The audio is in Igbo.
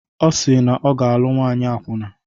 Ọ si na ọ ga-alụ nwaanyị akwụna